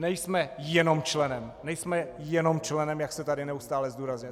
Nejsme jenom členem - nejsme jenom členem, jak se tady neustále zdůrazňuje.